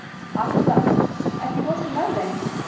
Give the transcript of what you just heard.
Atla, ekki fórstu með þeim?